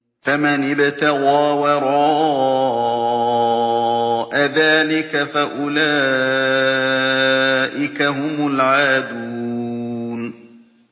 فَمَنِ ابْتَغَىٰ وَرَاءَ ذَٰلِكَ فَأُولَٰئِكَ هُمُ الْعَادُونَ